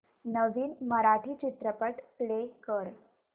नवीन मराठी चित्रपट प्ले कर